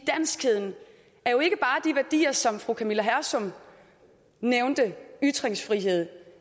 værdier som fru camilla hersom nævnte ytringsfriheden